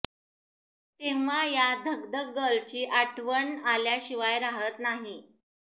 तेव्हा या धकधक गर्लची आठवण आल्या शिवाय राहत नाही